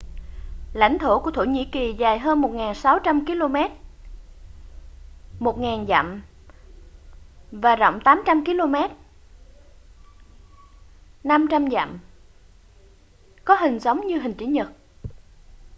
lãnh thổ của thổ nhĩ kỳ dài hơn 1.600 km 1.000 dặm và rộng 800 km 500 dặm có hình giống như hình chữ nhật